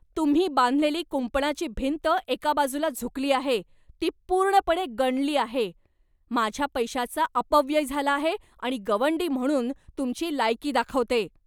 तुम्ही बांधलेली कुंपणाची भिंत एका बाजूला झुकली आहे, ती पूर्णपणे गंडली आहे, माझ्या पैशाचा अपव्यय झाला आहे आणि गवंडी म्हणून तुमची लायकी दाखवते.